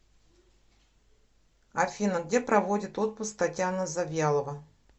афина где проводит отпуск татьяна завьялова